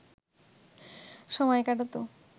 সময় কাটাত